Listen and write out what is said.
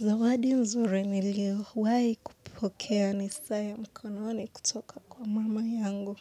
Zawadi mzuri niliowai kupokea ni saa ya mkononi kutoka kwa mama yangu